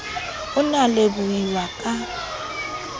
o ne a lebohuwa ka